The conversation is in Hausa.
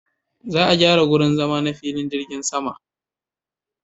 Za a gyara wurin zama na filin jirgin sama.